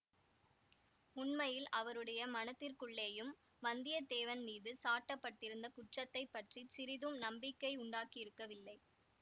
உண்மையில் அவருடைய மனத்திற்குள்ளேயும் வந்தியத்தேவன் மீது சாட்ட பட்டிருந்த குற்றத்தை பற்றி சிறிதும் நம்பிக்கை உண்டாகியிருக்கவில்லை